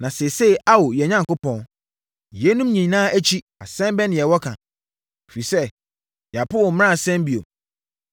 “Na seesei Ao, yɛn Onyankopɔn, yeinom nyinaa akyi asɛm bɛn na yɛwɔ ka? Ɛfiri sɛ, yɛapo wo mmaransɛm bio.